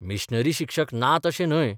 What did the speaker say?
Missionary शिक्षक नात अशे न्हय.